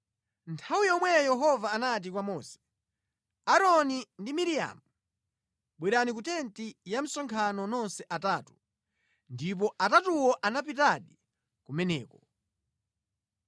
Nthawi yomweyo Yehova anati kwa Mose, Aaroni ndi Miriamu, “Bwerani ku tenti ya msonkhano nonse atatu.” Ndipo atatuwo anapitadi kumeneko.